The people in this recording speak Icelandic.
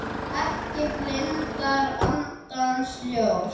Ekki blindar andans ljós